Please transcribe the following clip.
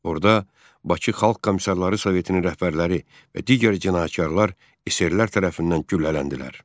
Orada Bakı Xalq Komissarları Sovetinin rəhbərləri və digər cinayətkarlar SR-lər tərəfindən güllələndilər.